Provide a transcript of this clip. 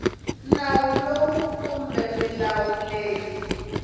nawu lowu kumbe milawu leyi